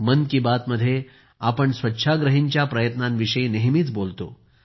मन की बात मध्ये आपण नेहमी स्वच्छाग्रहींच्या प्रयत्नांविषयी नेहमीच बोलतो